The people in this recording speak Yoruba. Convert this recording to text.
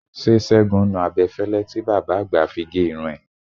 Ṣé Ṣẹ́gun nu abẹ́fẹ́lẹ́ tí bàbá àgbà fi gé irun ẹ?